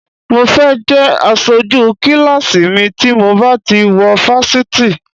Mo fẹ́ jẹ́ aṣojú kíláàsì mi tí mo bá ti wọ fásitì